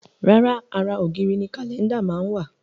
Rárá, ara ògiri ni Kálẹ́ndà máa ń wà